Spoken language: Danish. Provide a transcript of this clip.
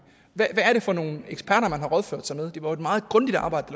hvad er det for nogle eksperter man har rådført sig med det var jo et meget grundigt arbejde